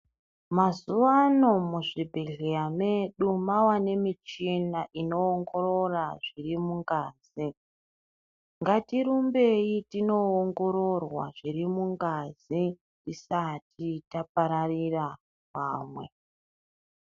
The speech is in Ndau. Mazuwa ano muzvibhedhleya medu mava nemichina inoongorora zviri mungazi. Ngatirumbei tinoongororwa zviri mungazi tisati tapararira vamwe.